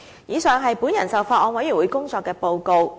以上是我就法案委員會工作作出的報告。